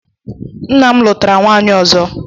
Nna'm lutara nwaanyị ozo.